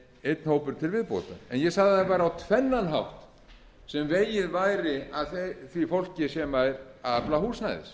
einn hópur til viðbótar ég sagði að það væri á tvennan hátt sem vegið væri að því fólki sem er að afla húsnæðis það er